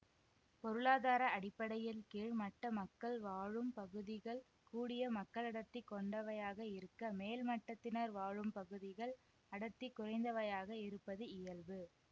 பொருளாதார அடிப்படையில் கீழ் மட்ட மக்கள் வாழும் பகுதிகள் கூடிய மக்களடர்த்தி கொண்டவையாக இருக்க மேல் மட்டத்தினர் வாழும் பகுதிகள் அடர்த்தி குறைந்தவையாக இருப்பது இயல்பு